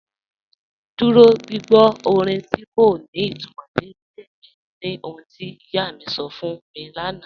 Dúró gbìgbọ́ orin tí kò ní ìtumọ́ ní ilẹ̀ mi ní ọ̀hun tí iyá mi sọ́ fún mi lánà